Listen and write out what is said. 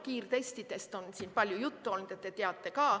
Kiirtestidest on siin palju juttu olnud.